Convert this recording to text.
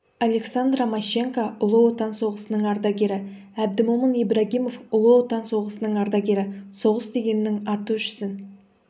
александра мащенко ұлы отан соғысының ардагері әбдімомын ибрагимов ұлы отан соғысының ардагері соғыс дегеннің аты өшсін